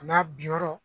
A n'a bi yɔrɔ